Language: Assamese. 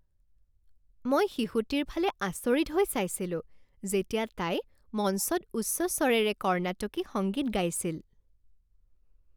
মই শিশুটিৰ ফালে আচৰিত হৈ চাইছিলো যেতিয়া তাই মঞ্চত উচ্চ স্বৰেৰে কৰ্ণাটকী সংগীত গাইছিল।